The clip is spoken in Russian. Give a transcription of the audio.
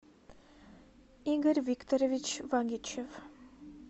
игорь викторович вагичев